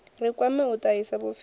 ri kwame u tahisa vhupfiwa